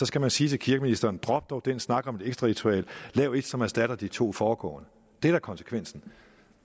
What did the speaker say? skal man sige til kirkeministeren drop dog den snak om et ekstra ritual og lav et som erstatter de to foregående det er da konsekvensen